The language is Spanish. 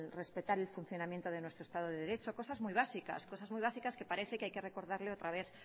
respetar el funcionamiento de nuestro estado de derecho cosas muy básicas cosas muy básicas que parece que hay que recordarle otra vez